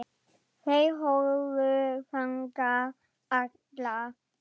Þær horfðu þangað allar.